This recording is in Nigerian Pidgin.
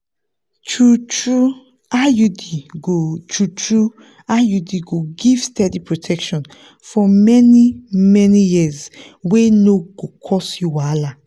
true-true iud go true-true iud go give steady protection for many-many years wey no go cause you wahala.